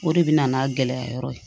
O de bɛ na n'a gɛlɛya yɔrɔ ye